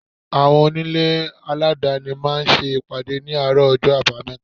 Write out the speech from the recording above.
Àwọn onílé aladani máa ń ṣe ìpàdé ní àárọ̀ ọjọ́ abameta.